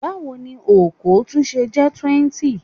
Báwo ni okòó tún ṣe jẹ́ 20?